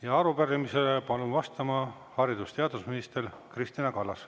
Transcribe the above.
Ja arupärimisele palun vastama haridus- ja teadusminister Kristina Kallase.